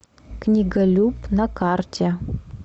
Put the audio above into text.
книголюб на карте